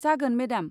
जागोन. मेदाम।